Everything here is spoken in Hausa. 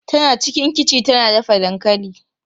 Tana cikin kichi tana dafa dankali.